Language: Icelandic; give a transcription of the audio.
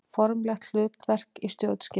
Formlegt hlutverk í stjórnskipun.